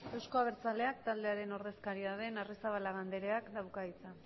euzko abertzaleak taldearen ordezkaria den arrizabalaga andrea dauka hitza